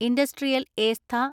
industrial estate